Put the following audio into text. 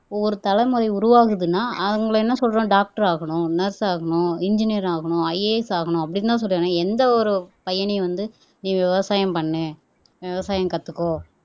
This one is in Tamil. ஒரு தலைமுறை உருவாகுதுன்னா அவங்களை என்ன சொல்றோம் டாக்டர் ஆகணும் நர்ஸ் ஆகணும் என்ஜினீயர் ஆகணும் IAS ஆகணும் அப்படின்னுதான் சொல்றோம் எந்த ஒரு பையனையும் வந்து நீ விவசாயம் பண்ணு விவசாயம் கத்துக்கோ